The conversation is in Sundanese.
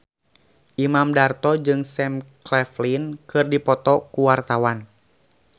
Imam Darto jeung Sam Claflin keur dipoto ku wartawan